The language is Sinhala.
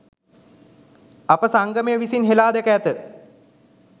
අප සංගමය විසින් හෙලා දැක ඇත